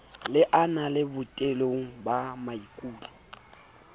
le ananela botebong ba maikut